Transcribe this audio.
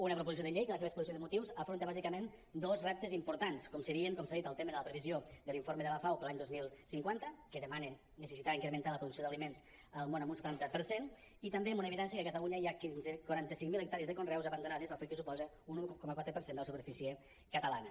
una proposició de llei que a la seva exposició de motius afronta bàsicament dos reptes importants com serien com s’ha dit el tema de la previsió de l’informe de la fao per a l’any dos mil cinquanta que demana la necessitat d’incrementar la producció d’aliments al món en un setanta per cent i també amb una evidència que a catalunya hi ha quaranta cinc mil hectàrees de conreus abandonades fet que suposa un un coma quatre per cent de la superfície catalana